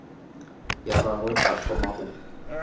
ya gagwe a thoma go